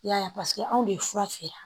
I y'a ye paseke anw de ye fura feere